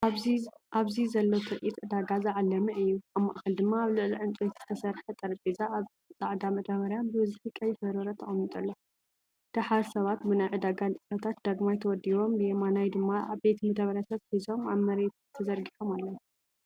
ኣብዚ ዘሎ ትርኢት ዕዳጋ ዝዓለመ እዩ። ኣብ ማእከል ድማ ኣብ ልዕሊ ዕንጨይቲ ዝተሰርሐ ጠረጴዛ ኣብ ጻዕዳ መዳበርያ ብብዝሒ ቀይሕ በርበረ ተቐሚጡ ኣሎ። ደሓር ሰባት ብናይ ዕዳጋ ንጥፈታት ዳግማይ ተወዲቦም። ብየማን ድማ ዓበይቲ መደበርያታት ሒዞም ኣብ መሬት ተዘርጊሖም ኣለው።